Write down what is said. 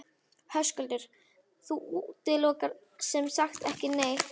Höskuldur: Þú útilokar sem sagt ekki neitt?